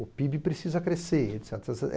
O pêibê precisa crescer.